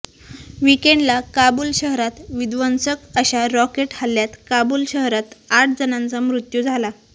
वीकेंडला काबूल शहरात विध्वंसक अशा रॉकेट हल्ल्यात काबुल शहरात आठजणांचा मृत्यू झाला